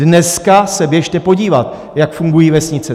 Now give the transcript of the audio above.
Dneska se běžte podívat, jak fungují vesnice.